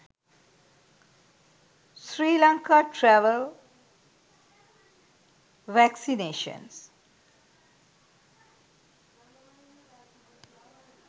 sri lanka travel vaccinations